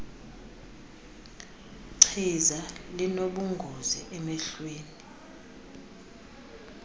chiza linobungozi emehlweni